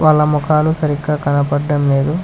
వాళ్ళ మొఖాలు సరిగ్గా కనపడడం లేదు.